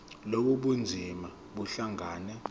lobu bunzima buhlangane